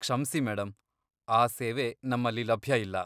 ಕ್ಷಮ್ಸಿ ಮೇಡಂ, ಆ ಸೇವೆ ನಮ್ಮಲ್ಲಿ ಲಭ್ಯ ಇಲ್ಲ.